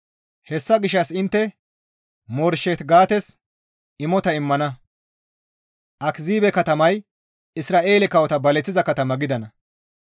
Hessa gishshas intte Moreshet-Gates imota immana; Akiziibe katamay Isra7eele kawota baleththiza katama gidana.